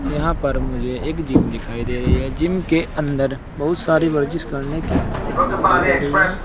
यहां पर मुझे एक जिम दिखाई दे रही है जिम के अंदर बहुत सारी वर्जिश करने की मशीने दिखाई दे रही हैं।